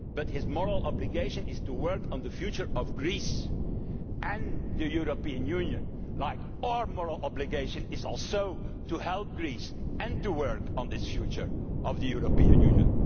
his moral obligation is to work on the future of Greece and the European Union, just as our moral obligation too is to help Greece and to work on this future of the European Union.